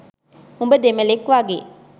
උඹ දෙමළෙක් වගේ